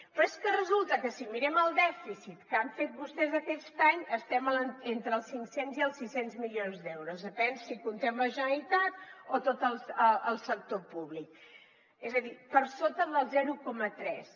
però és que resulta que si mirem el dèficit que han fet vostès aquest any estem entre els cinc cents i els sis cents milions d’euros depèn de si comptem la generalitat o tot el sector públic és a dir per sota del zero coma tres